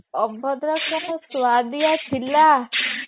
ଅଭଡା ଟା କି ସୁଆଦିଆ ଥିଲା